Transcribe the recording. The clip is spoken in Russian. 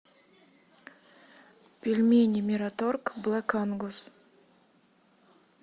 пельмени мираторг блэк ангус